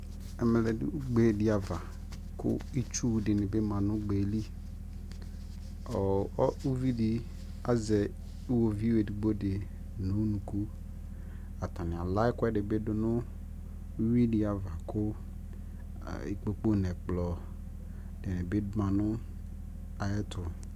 ɛmɛ ʋgbɛ di aɣa kʋ itsʋ dini bi manʋ ʋgbɛli, ʋvidi azɛ iwɔviʋ ɛdigbɔ di nʋ ʋnʋkʋ, atani ala ɛkʋɛdi bi dʋnʋ ʋwi di aɣa kʋ ikpɔkʋ nʋ ɛkplɔ bi manʋ ayɛtʋ